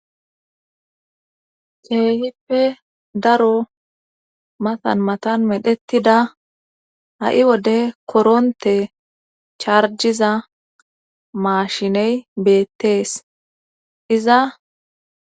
Keehife daro matan matan medhettida ha wode koronte charjiza maashiney beettees iza..